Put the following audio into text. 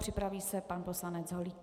Připraví se pan poslanec Holík.